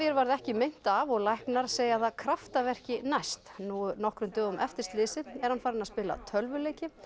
varð ekki meint af og læknar segja það kraftaverki næst nú nokkrum dögum eftir slysið er hann farinn að spila tölvuleiki